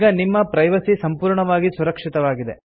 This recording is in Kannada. ಈಗ ನಿಮ್ಮ ಪ್ರೈವಸಿ ಸಂಪೂರ್ಣವಾಗಿ ಸುರಕ್ಷಿತವಾಗಿದೆ